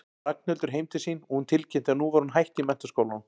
Ragnhildur heim til sín og tilkynnti að nú væri hún hætt í menntaskólanum.